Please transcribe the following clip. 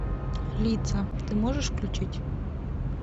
лица ты можешь включить